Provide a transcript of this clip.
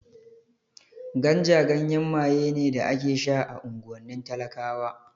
Ganja ganyen maye ne da ake sha a unguwannin talakawa